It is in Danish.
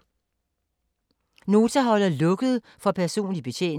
Nota holder lukket for personlig betjening